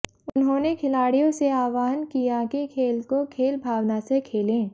उन्होंने खिलाडि़यों से आह्वान किया कि खेल को खेल भावना से खेलें